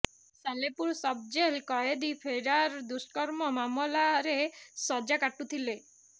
Salepur sub ଜେଲ୍ରୁ କଏଦୀ ଫେରାର ଦୁଷ୍କର୍ମ ମାମଲାରେ ସଜ୍ଜା କାଟୁଥିଲେ